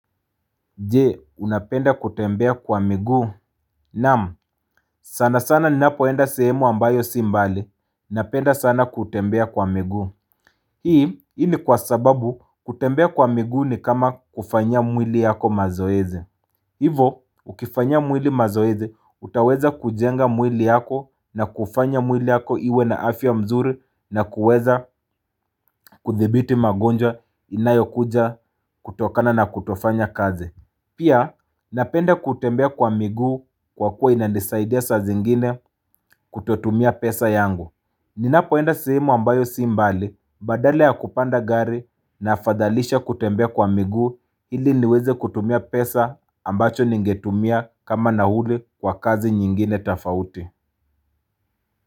Je unapenda kutembea kwa miguu? Naam sana sana ni ninapoenda sehemu ambayo si mbali. Napenda sana kutembea kwa miguu Hii ini kwa sababu kutembea kwa miguu ni kama kufanya mwili yako mazoeze Hivo ukifanya mwili mazoezi utaweza kujenga mwili yako na kufanya mwili yako iwe na afya mzuri na kuweza kudhibiti magonjwa inayo kuja kutokana na kutofanya kazi. Pia, napenda kutembea kwa miguu kwa kuwa inanisaidia sa zingine kutotumia pesa yangu. Ninapoenda sihimu ambayo si mbali badala ya kupanda gari na afadhalisha kutembea kwa miguu ili niweze kutumia pesa ambacho ningetumia kama nauli kwa kazi nyingine tofauti.